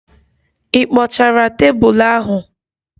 Ị kpochara tebụl ahụ?